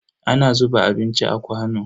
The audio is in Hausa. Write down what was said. Ana zuba abinci a kwano.